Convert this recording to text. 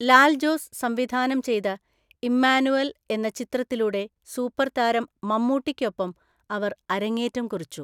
ലാൽ ജോസ് സംവിധാനം ചെയ്ത ഇമ്മാനുവൽ എന്ന ചിത്രത്തിലൂടെ സൂപ്പർതാരം മമ്മൂട്ടിയ്‌ക്കൊപ്പം അവർ അരങ്ങേറ്റം കുറിച്ചു.